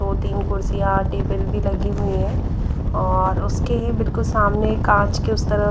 दो तीन कुर्सियां टेबल भी लगी हुई हैं और उसके बिल्कुल सामने कांच के उस तरह--